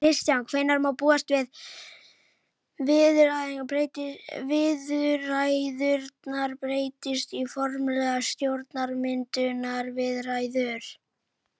Kristján: Hvenær má búast við viðræðurnar breytist í formlegar stjórnarmyndunarviðræður?